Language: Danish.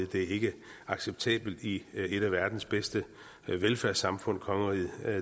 det er ikke acceptabelt i et af verdens bedste velfærdssamfund kongeriget